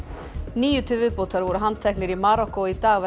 níu til viðbótar voru handteknir í Marokkó í dag